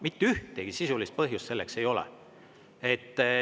Mitte ühtegi sisulist põhjust selleks ei ole.